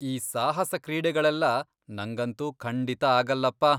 ಈ ಸಾಹಸ ಕ್ರೀಡೆಗಳೆಲ್ಲಾ ನಂಗಂತೂ ಖಂಡಿತ ಆಗಲ್ಲಪ್ಪ.